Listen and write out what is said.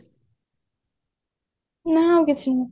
ନାଇଁ ଆଉ କିଛି ନାଇଁ